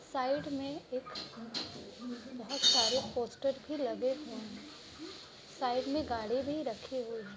Side में एक बोहोत सारे पोस्टर भी लगे हुए हैं| साइड में गाड़ी भी रखे हुए हैं ।